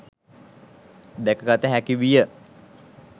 දැකගත හැකි විය.